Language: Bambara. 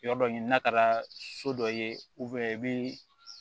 Yɔrɔ dɔ ɲini n'a taara so dɔ ye i bɛ